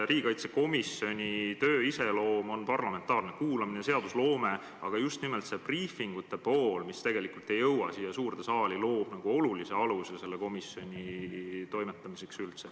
Riigikaitsekomisjoni töö iseloom on parlamentaarne kuulamine, seadusloome, aga just nimelt see briifingute pool, mis tegelikult ei jõua siia suurde saali, loob olulise aluse selle komisjoni toimetamiseks.